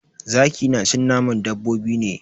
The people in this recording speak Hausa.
Zaki na cin naman dabbobi ne.